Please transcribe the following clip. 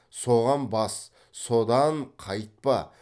соған бас содан қайтпа